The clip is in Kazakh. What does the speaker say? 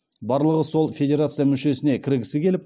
барлығы сол федерация мүшесіне кіргісі келіп